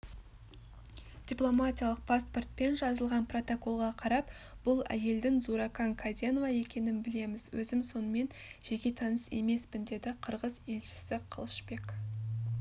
дипломатиялық паспорт пен жазылған протоколға қарап бұл әйелдің зууракан каденова екенін білеміз өзім онымен жеке таныс емеспін деді қырғыз елшісі қылышбек